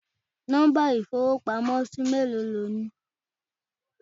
Nọ́mbà ìfowópamósí méèló ni o ní